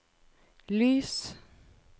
lys